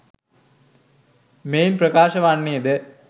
මෙයින් ප්‍රකාශ වන්නේ ද